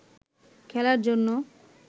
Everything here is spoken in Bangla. খেলার জন্য